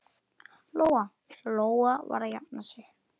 Lóa-Lóa var að jafna sig.